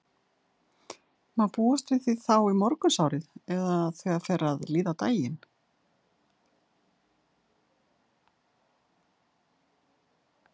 Má búast við því þá í morgunsárið eða þegar fer að líða á daginn?